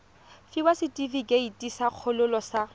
fiwa setefikeiti sa kgololo sa